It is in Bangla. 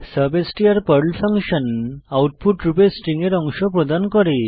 সাবস্টার পর্ল ফাংশন যা আউটপুট রূপে স্ট্রিং এর অংশ প্রদান করে